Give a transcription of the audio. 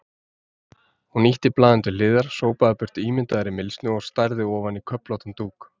Hún ýtti blaðinu til hliðar, sópaði burt ímyndaðri mylsnu og starði ofan í köflóttan dúk.